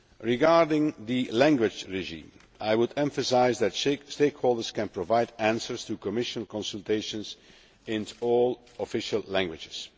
Regarding the language regime, I would emphasise that stakeholders can provide answers to Commission consultations in all official languages.